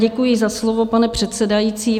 Děkuji za slovo, pane předsedající.